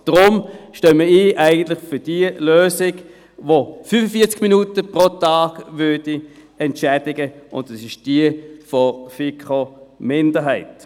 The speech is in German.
Deshalb stehen wir für die Lösung ein, die 45 Minuten pro Tag entschädigen würde, und es ist die Lösung der FiKo-Minderheit.